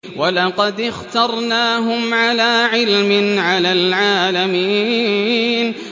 وَلَقَدِ اخْتَرْنَاهُمْ عَلَىٰ عِلْمٍ عَلَى الْعَالَمِينَ